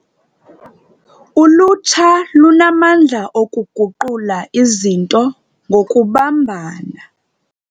Ulutsha lunamandla okuguqula izinto ngokubambana.